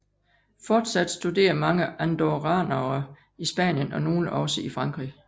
Fortsat studerer mange andorranere i Spanien og nogle også i Frankrig